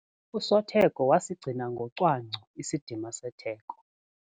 Usotheko wasigcina ngocwangco isidima setheko.